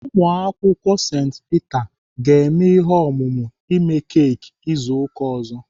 Ụmụakwụkwọ St Peter ga-eme ihe omume ime keki izu ụka ọzọ.